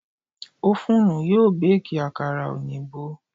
Ófúnù yóò Báàkì àkàrà òyìnbó.